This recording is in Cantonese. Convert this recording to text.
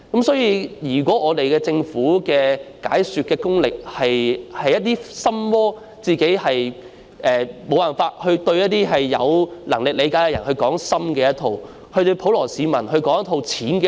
所以，政府的解說工作存在"心魔"，無法向有能力理解的人說深的一套，對普羅市民說淺的一套。